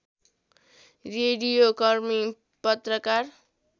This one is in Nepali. रेडियोकर्मी पत्रकार